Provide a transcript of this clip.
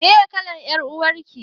Meye kalar ƴar uwar ki?